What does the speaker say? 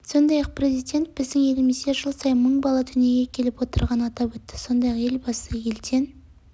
сондай-ақ президент біздің елімізде жыл сайын мың бала дүниеге келіп отырғанын атап өтті сондай-ақ елбасы елден